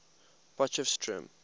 potchefstroom